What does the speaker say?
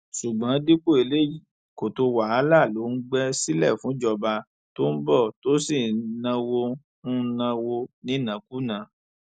ṣùgbọn dípò eléyìí kòtò wàhálà ló ń gbé sílẹ fúnjọba tó ń bọ tó sì ń náwó ń náwó nínákúnàá